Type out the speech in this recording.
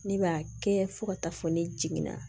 Ne b'a kɛ fo ka taa fɔ ne jiginna